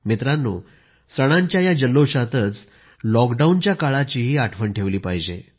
मित्रांनो सणांच्या या जल्लोषातच लॉकडाऊनच्या काळाचीही आठवण ठेवली पाहिजे